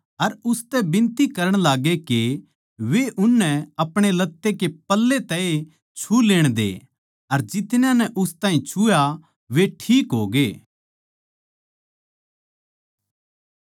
अर उसतै बिनती करण लाग्गै के वे उननै अपणे लत्ते कै पल्ले तै ए छू लेण दे अर जितन्या नै उस ताहीं छुआ वे ठीक होगे